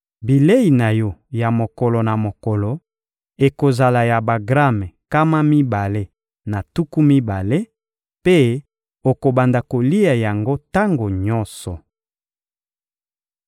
Bilei na yo ya mokolo na mokolo ekozala ya bagrame nkama mibale na tuku mibale, mpe okobanda kolia yango tango nyonso.